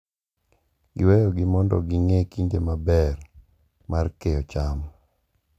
Giweyogi mondo ging’e kinde maber mar keyo cham.